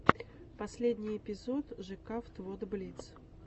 последний эпизод жекавт вот блиц